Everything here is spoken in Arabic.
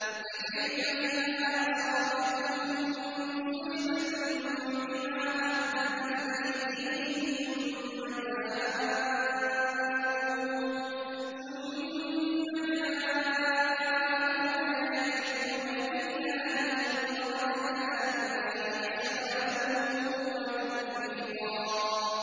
فَكَيْفَ إِذَا أَصَابَتْهُم مُّصِيبَةٌ بِمَا قَدَّمَتْ أَيْدِيهِمْ ثُمَّ جَاءُوكَ يَحْلِفُونَ بِاللَّهِ إِنْ أَرَدْنَا إِلَّا إِحْسَانًا وَتَوْفِيقًا